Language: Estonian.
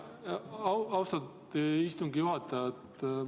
Austatud istungi juhataja!